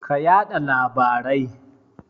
Ka yada labarai.